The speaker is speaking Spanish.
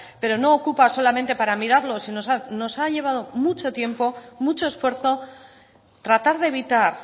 pero no ocupa solamente para mirarlo nos ha llevado mucho tiempo mucho esfuerzo tratar de evitar